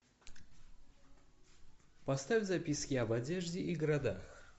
поставь записки об одежде и городах